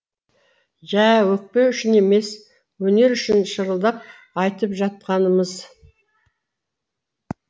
жә өкпе үшін емес өнер үшін шырылдап айтып жатқанымыз